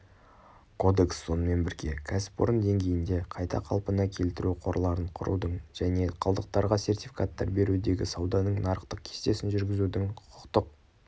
кодекс сонымен бірге кәсіпорын деңгейінде қайта қалпына келтіру қорларын құрудың және қалдықтарға сертификаттар берудегі сауданың нарықтық кестесін жүргізудің құқықтық